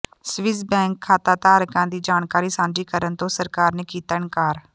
Swiss bank ਖਾਤਾਧਾਰਕਾਂ ਦੀ ਜਾਣਕਾਰੀ ਸਾਂਝੀ ਕਰਨ ਤੋਂ ਸਰਕਾਰ ਨੇ ਕੀਤਾ ਇਨਕਾਰ